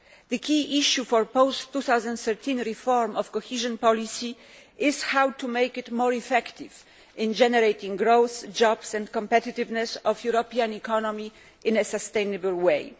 The key issue for post 2013 reform of cohesion policy is how to make it more effective in generating growth, jobs and competitiveness for the European economy in a sustainable way.